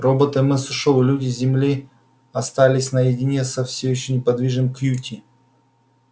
робот мс ушёл и люди с земли остались наедине со всё ещё неподвижным кьюти